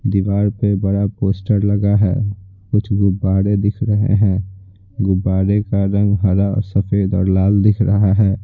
दीवार पे बड़ा पोस्टर लगा है कुछ गुब्बारे दिख रहे हैं गुब्बारे का रंग हरा और सफेद और लाल दिख रहा है।